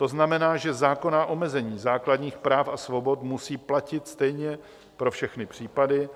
To znamená, že zákonná omezení základních práv a svobod musí platit stejně pro všechny případy,